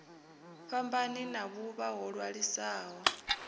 fhambani na vhuvha ho ṅwaliswaho